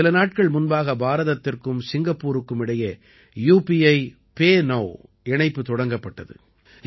சில நாட்கள் முன்பாக பாரதத்திற்கும் சிங்கப்பூருக்கும் இடையே யுபிஐபே நௌ இணைப்பு தொடங்கப்பட்டது